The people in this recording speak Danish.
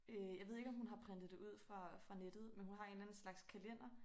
Øh jeg ved ikke om hun har printet det ud fra fra nettet men hun har en eller anden slags kalender